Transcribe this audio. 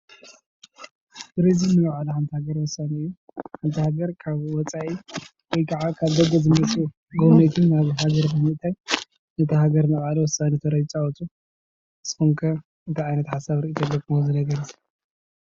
ቱሪዝም ንባዕሉ ንሓንቲ ሃገር ወሳኒ እዩ ሓንቲ ሃገር ካብ ወፃኢ ወይ ከዓ ካብ ገገዝኡ መፂኡ ጎብነይቲ ሃገር ብምእታይ ነታ ሃገር ናይ ባዕሉ ወሳኒ ተራ ይፃወቱ። ንስኩም ከ እንታይ ዓይነት ሓሳብ ሪኢቶ ኣለኩም?